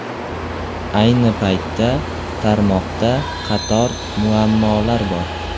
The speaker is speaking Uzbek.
Ayni paytda, tarmoqda qator muammolar bor.